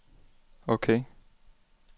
ok